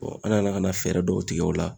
an nana ka na fɛɛrɛ dɔw tigɛ o la